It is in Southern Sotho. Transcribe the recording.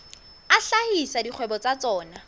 a hlahisa dikgwebo tsa tsona